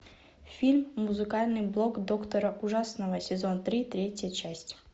фильм музыкальный блог доктора ужасного сезон три третья часть